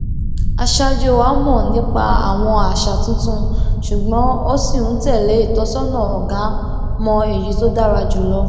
aṣáájú wa mọ nípa àwọn àṣà tuntun ṣùgbọn ó ṣì ń tẹlé ìtọsọnà ọgá mọ èyí tó dára jù lọ